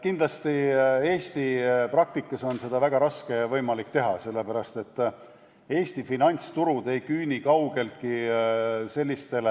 Kindlasti on Eesti praktikas seda väga raske teha, sest Eesti finantsturud ei küündi kaugeltki selliste